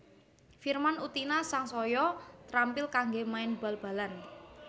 Firman Utina sangsaya trampil kanggé main bal balan